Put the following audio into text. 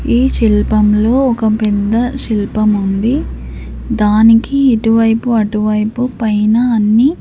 ఈ శిల్పం లో ఒక పెద్ద శిల్పం ఉంది దానికి ఇటువైపు అటువైపు పైన అన్ని--